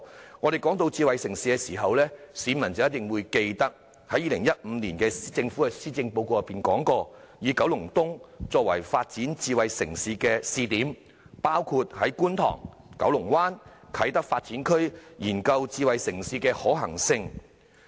當我們談到智慧城市時，市民必定記得政府在2015年的施政報告中提出，以九龍東作為發展智慧城市的試點，包括在觀塘、九龍灣及啟德發展區研究智慧城市的可行性。